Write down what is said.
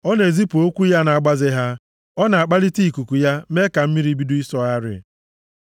Ọ na-ezipụ okwu ya na-agbaze ha; ọ na-akpalịte ikuku ya mee ka mmiri bido ịsọgharị.